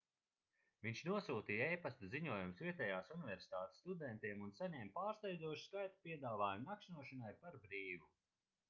viņš nosūtīja e-pasta ziņojumus vietējās universitātes studentiem un saņēma pārsteidzošu skaitu piedāvājumu nakšņošanai par brīvu